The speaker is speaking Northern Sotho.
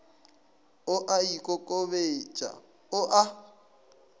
o a ikokobetša o a